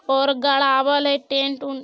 और गड़ावल हेय टेट - उंट।